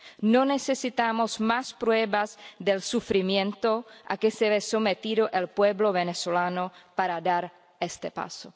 No necesitamos más pruebas del sufrimiento a que se ve sometido el pueblo venezolano para dar este paso.